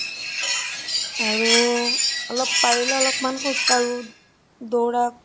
আৰু অলপ পাৰিলে মান খোজ কাঢ়ো দৌৰা